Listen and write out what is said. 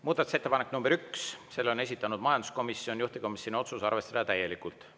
Muudatusettepanek nr 1, selle on esitanud majanduskomisjon, juhtivkomisjoni otsus: arvestada täielikult.